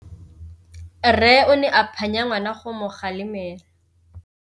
Rre o ne a phanya ngwana go mo galemela.